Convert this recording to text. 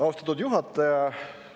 Austatud juhataja!